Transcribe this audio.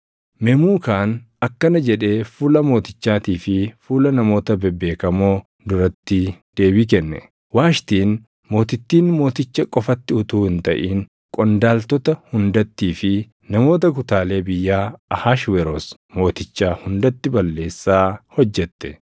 Memuukaan akkana jedhee fuula mootichaatii fi fuula namoota bebeekamoo duratti deebii kenne; “Waashtiin mootittiin Mooticha qofatti utuu hin taʼin qondaaltota hundattii fi namoota kutaalee biyyaa Ahashweroos Mootichaa hundatti balleessaa hojjette.